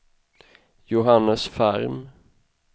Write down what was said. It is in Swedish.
Johannes Ferm